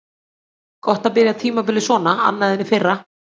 Gott að byrja tímabilið svona annað en í fyrra.